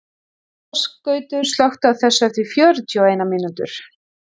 Ásgautur, slökktu á þessu eftir fjörutíu og eina mínútur.